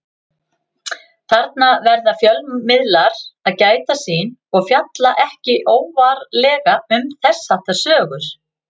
Þarna verða fjölmiðlar að gæta sín og fjalla ekki óvarlega um þess háttar sögur.